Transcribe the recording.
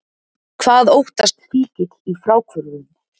Hvað óttast fíkill í fráhvörfum?